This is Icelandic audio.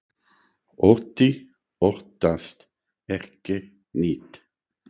Otti óttast ekki neitt!